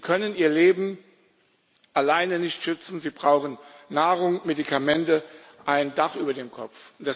Sie können ihr Leben alleine nicht schützen, sie brauchen Nahrung, Medikamente und ein Dach über dem Kopf.